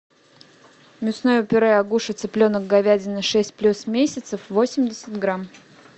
мясное пюре агуша цыпленок говядина шесть плюс месяцев восемьдесят грамм